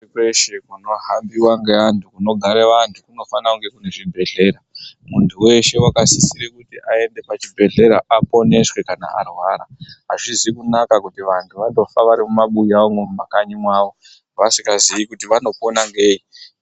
Kweshe kunohambiwa ngevantu, kunogare vantu kunofanira kunge kune zvibhedhlera, muntu weshe akasisirwa kuti aende pachibhedhlera aponeswe kana arwara azvizi kunaka kuti vantu vanofa vari mumabuya umwo mumakanyi mwavo vasingazii kuti vanopona ngei.